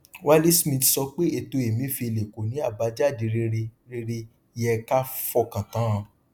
wale smith sọ pé ètò emefiele kò ní àbájáde rere rere yẹ ká fọkàn tán